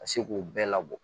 Ka se k'u bɛɛ labɔ